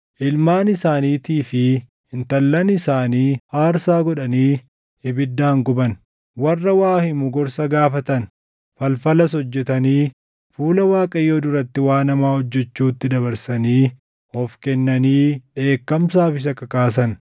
Ilmaan isaaniitii fi intallan isaanii aarsaa godhanii ibiddaan guban. Warra waa himu gorsa gaafatan; falfalas hojjetanii fuula Waaqayyoo duratti waan hamaa hojjechuutti dabarsanii of kennanii dheekkamsaaf isa kakaasan.